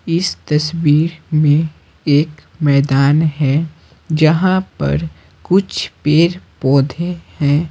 इस तस्वीर में एकमैदान है जहां परकुछ पेड़-पौधे हैं।